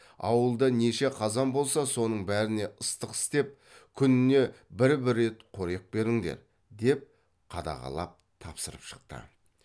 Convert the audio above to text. ауылда неше қазан болса соның бәріне ыстық істеп күніне бір бір рет қорек беріңдер деп қадағалап тапсырып шықты